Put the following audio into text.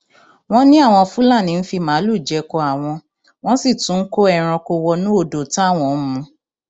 wọn ní àwọn fúlàní ń fi màálùú jẹko àwọn wọn sì tún ń kó ẹranko wọnú odò táwọn ń mu